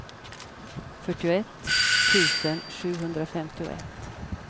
fyrtioett tusen sjuhundrafemtioett